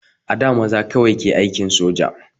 A da maza kawai ke aikin soja